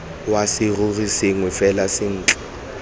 wa serori sengwe fela ntle